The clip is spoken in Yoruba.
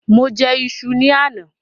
Mo jẹ ìṣù ni àná.